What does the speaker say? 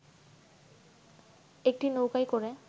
একটি নৌকায় করে